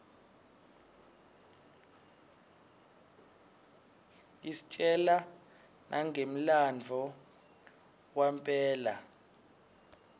istjela nanqemlanbuo wanbela